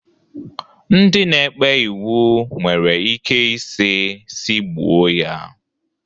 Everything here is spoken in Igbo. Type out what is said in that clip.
Ndị na-ekpe iwu nwere ike isi si gbuo ya.